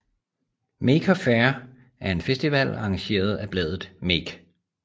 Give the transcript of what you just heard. Maker Faire er en festival arrangeret af bladet Make